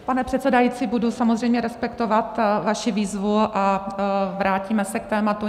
Pane předsedající, budu samozřejmě respektovat vaši výzvu a vrátíme se k tématu.